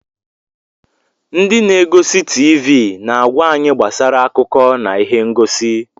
Ndị na-egosi TiiVi na-agwa anyị gbasara akụkọ na ihe ngosi.